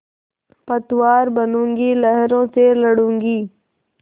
पतवार बनूँगी लहरों से लडूँगी